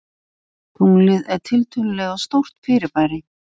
Tunglið er tiltölulega stórt fyrirbæri.